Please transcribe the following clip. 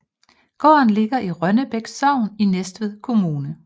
Gården ligger i Rønnebæk Sogn i Næstved Kommune